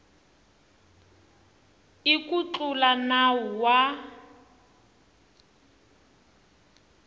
i ku tlula nawu wa